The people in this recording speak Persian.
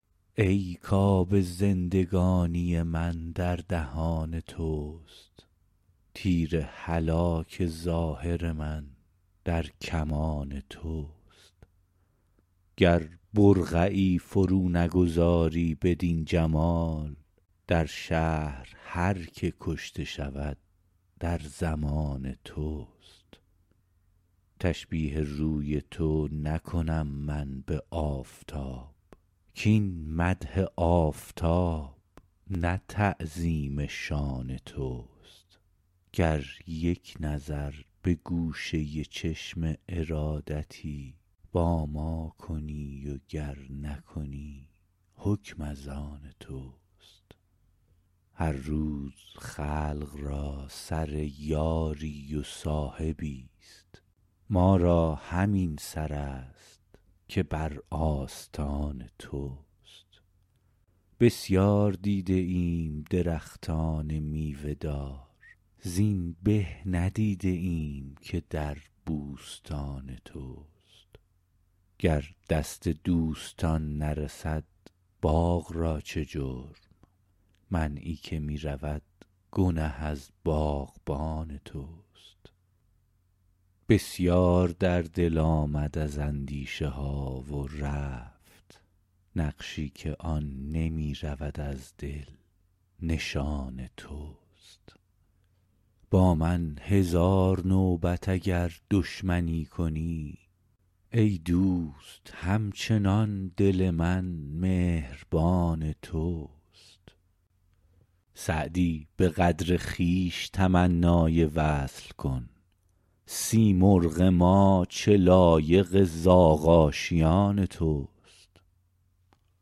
ای کآب زندگانی من در دهان توست تیر هلاک ظاهر من در کمان توست گر برقعی فرو نگذاری بدین جمال در شهر هر که کشته شود در ضمان توست تشبیه روی تو نکنم من به آفتاب کاین مدح آفتاب نه تعظیم شان توست گر یک نظر به گوشه چشم ارادتی با ما کنی و گر نکنی حکم از آن توست هر روز خلق را سر یاری و صاحبی ست ما را همین سر است که بر آستان توست بسیار دیده ایم درختان میوه دار زین به ندیده ایم که در بوستان توست گر دست دوستان نرسد باغ را چه جرم منعی که می رود گنه از باغبان توست بسیار در دل آمد از اندیشه ها و رفت نقشی که آن نمی رود از دل نشان توست با من هزار نوبت اگر دشمنی کنی ای دوست هم چنان دل من مهربان توست سعدی به قدر خویش تمنای وصل کن سیمرغ ما چه لایق زاغ آشیان توست